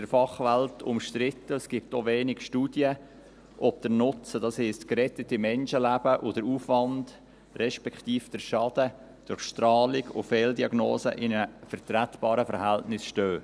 Es ist in der Fachwelt umstritten, es gibt auch wenig Studien, ob der Nutzen, das heisst, gerettete Menschenleben, und der Aufwand respektive der Schaden durch die Strahlung und Fehldiagnosen in einem vertretbaren Verhältnis stehen.